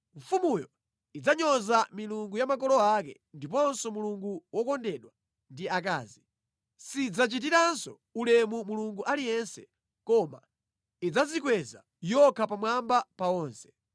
Mfumuyo idzanyoza milungu ya makolo ake ndiponso mulungu wokondedwa ndi akazi, sidzachitiranso ulemu mulungu aliyense, koma idzadzikweza yokha pamwamba pa onse.